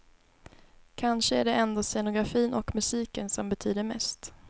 Kanske är det ändå scenografin och musiken som betyder mest.